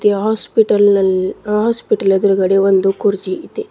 Hospital ನಲ್ hospital ನ ಎದುರುಗಡೆ ಒಂದು ಕುರ್ಚಿ ಇದೆ.